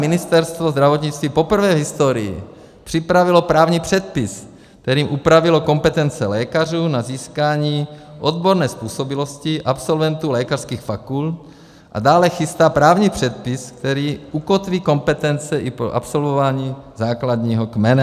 Ministerstvo zdravotnictví poprvé v historii připravilo právní předpis, kterým upravilo kompetence lékařů na získání odborné způsobilosti absolventů lékařských fakult, a dále chystá právní předpis, který ukotví kompetence i po absolvování základního kmene.